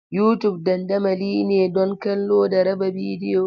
YouTube dandamali ne don kallo da raba bidiyo.